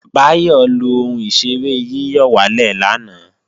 Báyọ̀ lo ohun ìṣeré yíyọ̀wálè lánàá